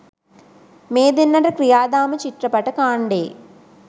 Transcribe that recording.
මේ දෙන්නට ක්‍රියාදාම චිත්‍රපට කාණ්ඩයේ